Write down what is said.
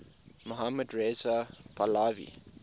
mohammad reza pahlavi